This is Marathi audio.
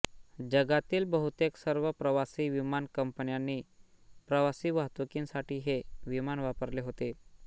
जगातील बहुतेक सर्व प्रवासी विमान कंपन्यांनी प्रवासी वाहतूकीसाठी हे विमान वापरले होते